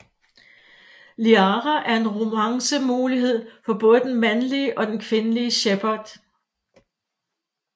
Liara er en romance mulighed for både den mandlige og den kvindelige Shepard